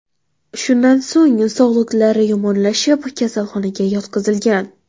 Shundan so‘ng sog‘liqlari yomonlashib, kasalxonaga yotqizilgan.